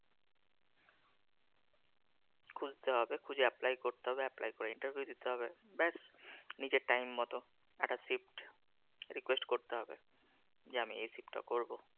খুঁজতে হবে, খুঁজে apply করতে হবে। আবেদন করে interview দিতে হবে। ব্যাস নিচে time মতো একটা shift request করতে হবে। যে আমি এ shift টা করব।